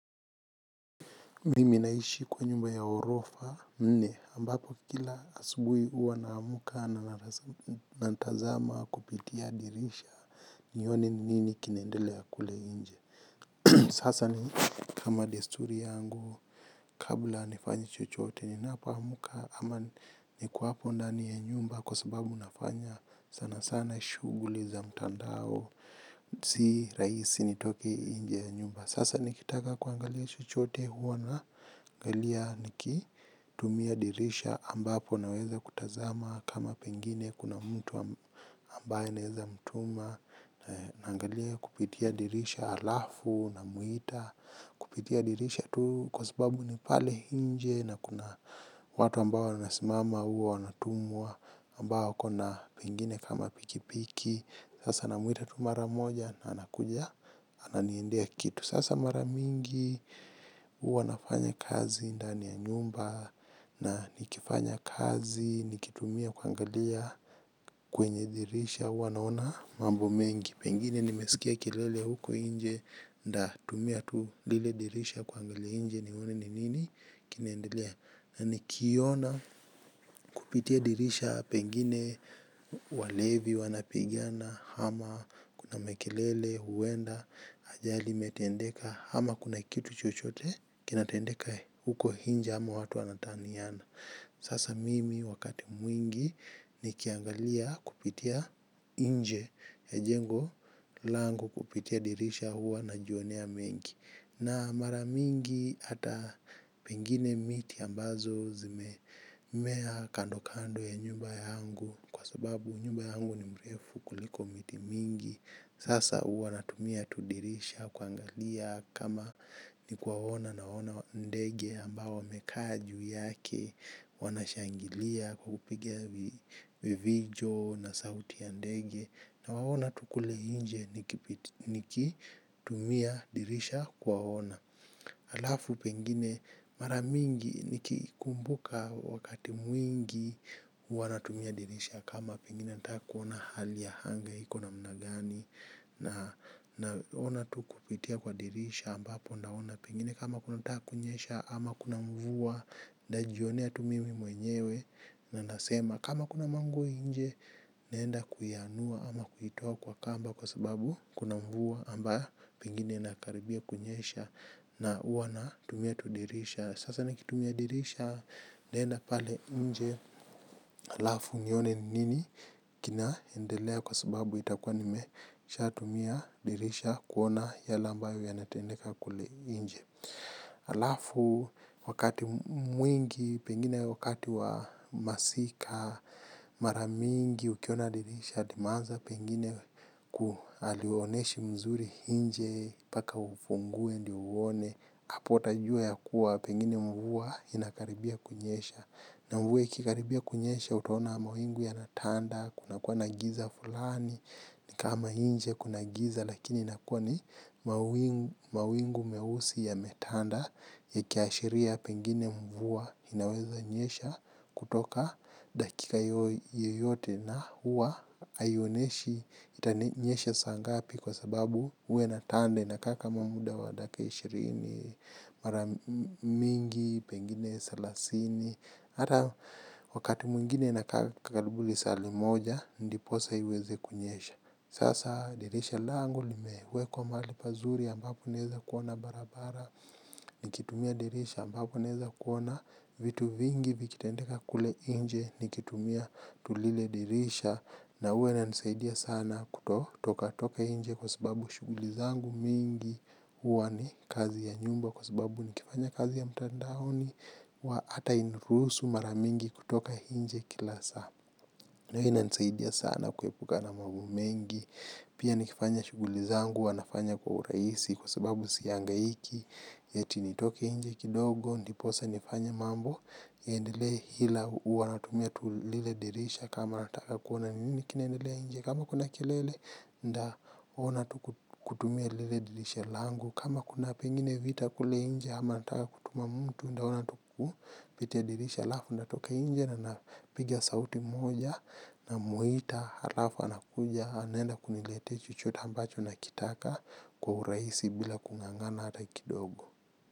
Mimi naishi kwa nyumba ya orofa nne ambapo kila asubui huwa naamka na nantazama kupitia dirisha. Nione ni nini kinaendelea kule inje. Sasa ni kama desturi yangu kabla nifanye chochote. Ninapoamka ama niko hapo ndani ya nyumba kwa sababu nafanya sanasana shughuli za mtandao. Si rahisi nitoke nje ya nyumba. Sasa nikitaka kuangalia chochote huwa naangalia niki tumia dirisha ambapo naweza kutazama kama pengine kuna mtu ambaye naweza mtuma. Naangalia kupitia dirisha alafu namuita. Kupitia dirisha tu kwa sababu ni pale inje. Na kuna watu ambao wanasimama huwa wanatumwa ambao wakona pengine kama pikipiki. Sasa namwita tu mara moja na anakuja ananiendea kitu. Sasa maramingi, huwa nafanya kazi, ndani ya nyumba, na nikifanya kazi, nikitumia kuangalia kwenye dirisha, huwa naona mambo mengi. Pengine nimesikia kelele huko inje, ndatumia tu lile dirisha kuangalia inje, nione ni nini, kinaendelea. Na nikiona kupitia dirisha pengine walevi wanapigana hama kuna mekelele, huenda, ajali imetendeka hama kuna kitu chochote kinatendeka huko inje ama watu wanataniana. Sasa mimi wakati mwingi nikiangalia kupitia inje ya jengo langu kupitia dirisha huwa najionea mengi. Na maramingi ata pengine miti ambazo zimemea kando kando ya nyumba yangu. Kwa sababu nyumba yangu ni mrefu kuliko miti mingi. Sasa huwa natumia tu dirisha kuangalia kama nikuwaona nawaona ndege ambao wamekaa juu yake wanashangilia kupiga vivijo na sauti ya ndege. Nawaona tu kule inje nikitumia dirisha kuwaona. Alafu pengine mara mingi nikikumbuka wakati mwingi huwa natumia dirisha. Kama pengine nataka kuona hali ya hanga iko namna gani. Na ona tu kupitia kwa dirisha ambapo naona pengine kama kunataka kunyesha ama kuna mvua, ndajionea tu mimi mwenyewe na ndasema kama kuna manguo inje, naenda kuianua ama kuitoa kwa kamba kwa sababu kuna mvua amba pengine inakaribia kunyesha na huwa natumia tu dirisha. Sasa nikitumia dirisha ndaenda pale nje alafu nione ni nini kinaendelea kwa sababu itakua nimeshatumia dirisha kuona yale ambayo yanatendeka kule inje. Alafu, wakati mwingi, pengine wakati wa masika, mara mingi ukiona dirisha, limeanza pengine kualioneshi mzuri inje, mpaka ufungue, ndio uone, apo utajua ya kuwa, pengine mvua inakaribia kunyesha. Na mvua ikikaribia kunyesha utaona mawingu yanatanda, kuna kuwa na giza fulani, ni kama inje kuna giza lakini nakua ni mawingu mawingu meusi yametanda yakiashiria pengine mvua inaweza nyesha. Kutoka dakika yoyote. Na huwa haioneshi itanyesha saa ngapi kwa sababu huwa inatanda inakaa kama muda wa dakika ishirini, mara mingi pengine selasini hata wakati mwingine inakaa karibu lisaa limoja ndiposa iweze kunyesha. Sasa dirisha langu limewekwa mahali pazuri ambapo naeza kuona barabara. Nikitumia dirisha ambapo naeza kuona vitu vingi vikitendeka kule inje. Nikitumia tu lile dirisha na huwa inanisaidia sana kutotoka toka inje kwa sababu shuguli zangu mingi. Huwa ni kazi ya nyumba kwa sababu nikifanya kazi ya mtandaoni huwa ata ainurusu maramingi kutoka inje kila saa. Na hii inansaidia sana kuepuka na mambo mengi. Pia nikifanya shuguli zangu huwa nafanya kwa uraisi kwa sababu sihangaiki. Eti nitoke inje kidogo, ndiposa nifanye mambo. Iendele hila huwa natumia tu lile dirisha kama nataka kuona ni nini kinaendelea inje. Kama kuna kelele nda ona tu kutumia lile dirisha langu, kama kuna pengine vita kule inje ama nataka kutuma mtu ndaona tu kupitia dirisha alafu ndatoka nje na napiga sauti moja. Na muita alafu anakuja anaenda kuniletea chochote ambacho nakitaka. Kwa uraisi bila kung'ang'ana hata kidogo.